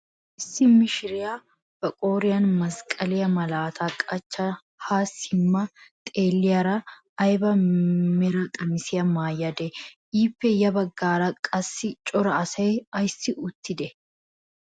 Issi mishiriyaa ba qooriyaan masqqaliyaa malaataa qachchada ha simma xeelliyaara ayba mera qamisiyaa maayadee? ippe ya baggaara qasi cora asay ayssi uttidee?